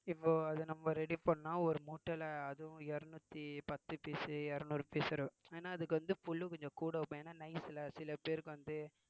இப்போ அது நம்ம ready பண்ணா ஒரு மூட்டையிலே அதுவும் இருநூத்தி பத்து piece இருநூறு piece ஏன்னா அதுக்கு வந்து புல்லு கொஞ்சம் கூட வைப்போம் ஏன்னா nice ல சில பேருக்கு வந்து